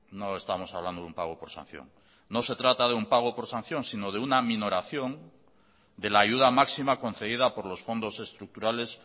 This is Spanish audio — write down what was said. no estamos hablando de un pago por sanción no se trata de un pago por sanción sino de una aminoración de la ayuda máxima concedida por los fondos estructurales